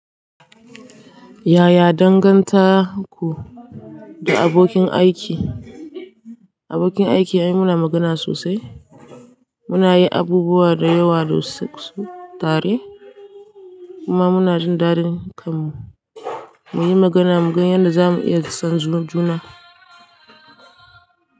Yaya dangantaku da abokin aiki? Abokin aiki ai muna magana sosai. Muna yi abubuwa dayawa dasu tare kuma muna jin dadin kan mu. Muyi magana mugan yadda zamu iya son juna.